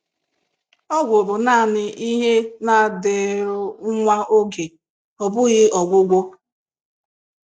Ọgwụ bụ naanị ihe na-adịru nwa oge, ọ bụghị ọgwụgwọ.